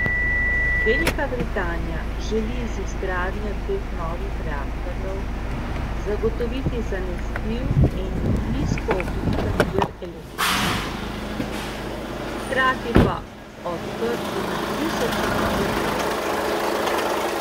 Velika Britanija želi z izgradnjo dveh novih reaktorjev zagotoviti zanesljiv in nizkoogljičen vir električne energije, hkrati pa odprti na tisoče novih delovnih mest.